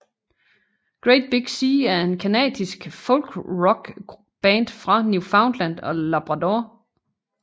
Great Big Sea er en canadisk folkrockband fra Newfoundland og Labrador